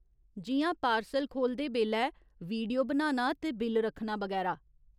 जिʼयां पार्सल खोह्‌लदे बेल्लै वीडियो बनाना ते बिल रक्खना, बगैरा।